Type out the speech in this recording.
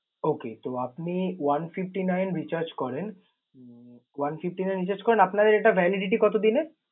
Okay তো আপনি one fifty nine recharge করেন। Um one fifty nine recharge করেন, আপনার এটা validity কতো দিনের?